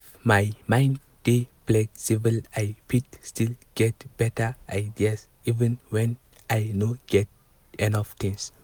if my mind dey flexible i fit still get better ideas even when i no get enough things.